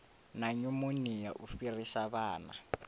na nyumonia u fhirisa vhana